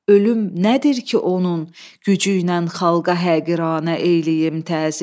ölüm nədir ki, onun gücü ilə xalqa həqiranə eyləyim təzim.